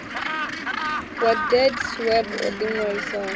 wa deedsweb o ḓi ṅwalisaho